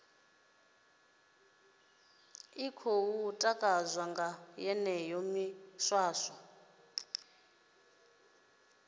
khou takadzwa nga yeneyo miswaswo